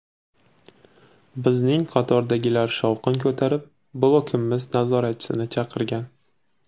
Bizning qatordagilar shovqin ko‘tarib, blokimiz nazoratchisini chaqirgan.